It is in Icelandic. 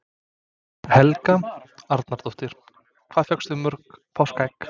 Helga Arnardóttir: Hvað fékkstu mörg páskaegg?